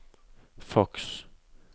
faks